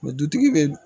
dutigi be